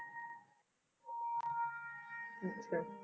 ਅੱਛਾ